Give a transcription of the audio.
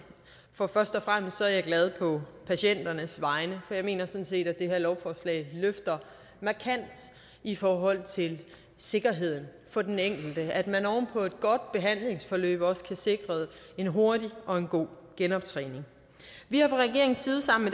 og først og fremmest er jeg glad på patienternes vegne for jeg mener sådan set at det her lovforslag løfter markant i forhold til sikkerheden for den enkelte altså at man oven på et godt behandlingsforløb også bliver sikret en hurtig og en god genoptræning vi har fra regeringens side sammen